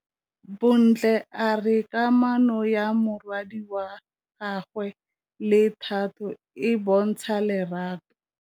Bontle a re kamanô ya morwadi wa gagwe le Thato e bontsha lerato.